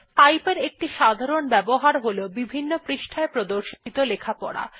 pipe এর একটি সাধারণ ব্যবহার হল বিভিন্ন পৃষ্ঠায় প্রদর্শিত লেখা পড়া